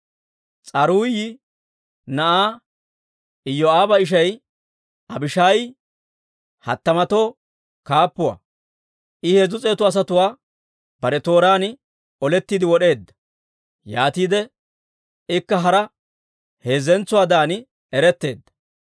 S'aruuyi na'aa Iyoo'aaba ishay Abishaayi hattamatoo kaappuwaa; I heezzu s'eetu asatuwaa bare tooraan olettiide wod'eedda; yaatiide ikka hara heezzatuwaadan eretteedda.